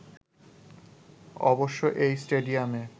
অবশ্য এই স্টেডিয়ামে